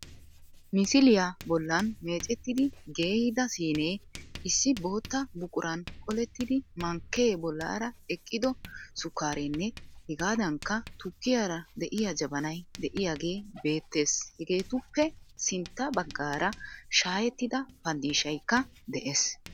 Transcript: Misiliya bollan meecettidi geeyida siinee, issi bootta buquran qolettidi mankkee bollaara eqqido sukkaareenne hegaadankka tukkiyara de'iya jabanay de'iyagee beettees Hageetuppe sintta baggaara shaayettida pandfishaykka dees